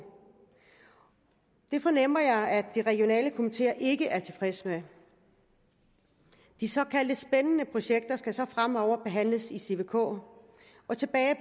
det fornemmer jeg at de regionale komiteer ikke er tilfredse med de såkaldt spændende projekter skal så fremover behandles i cvk og tilbage